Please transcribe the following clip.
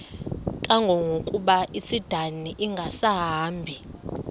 kangangokuba isindane ingasahambi